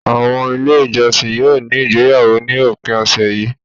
Àwọn Ilé-ìjọsìn yóò ní ìgbéyàwó ní òpin ọ̀sẹ̀ yìí.